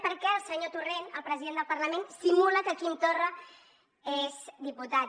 perquè el senyor torrent el president del parlament simula que quim torra és diputat